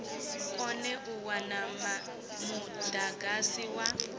kone u wana mudagasi wa